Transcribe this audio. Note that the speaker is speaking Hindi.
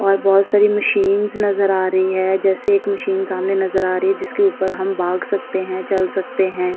और बहोत सारी मशीन्स नजर आ रही हैं। जैसे एक मशीन सामने नजर आ रही है। जिसके उपर हम भाग सकते हैं। चल सकते हैं।